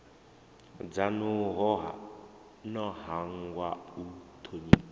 dzanu no hangwa u thonifha